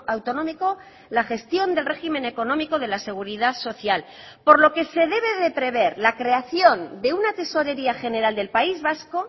autonómico la gestión del régimen económico de la seguridad social por lo que se debe de prever la creación de una tesorería general del país vasco